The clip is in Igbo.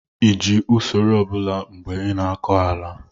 ị ji usoro ọ bụla mgbe ị na-akọ ala?